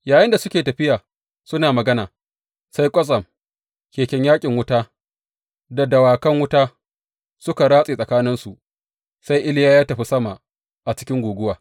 Yayinda suke tafiya suna magana, sai kwatsam, keken yaƙin wuta da dawakan wuta suka ratse tsakaninsu, sai Iliya ya tafi sama a cikin guguwa.